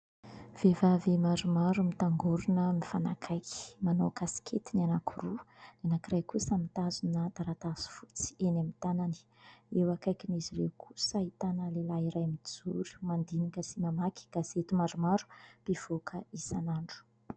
Vehivavy maromaro mitangorona mifanakaiky, manao kasikety anankiroa, ny anankiray kosa mitazona taratasy fotsy eny amin'ny tanany; eo akaikin'izy ireo kosa ahitana lehilahy iray mijoro, mandinika sy mamaky gazety maromaro mpivoaka isan'andro.